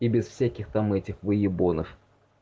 и без всяких там этих выебонов